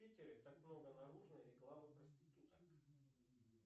в питере так много наружной рекламы проституток